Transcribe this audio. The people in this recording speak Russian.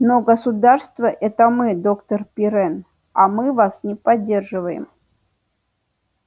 но государство это мы доктор пиренн а мы вас не поддерживаем